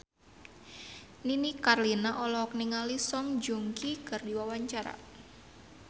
Nini Carlina olohok ningali Song Joong Ki keur diwawancara